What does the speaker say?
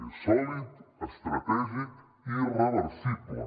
és sòlid estratègic i irreversible